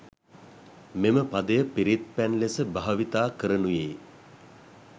මෙම පදය පිරිත් පැන් ලෙස භාවිතා කරනුයේ